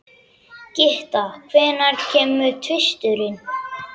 Gytta, hvenær kemur tvisturinn?